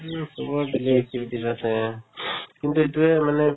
daily activities আছে কিন্তু এইটোয়ে মানে